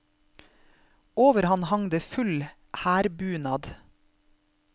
Over han hang det full hærbunad.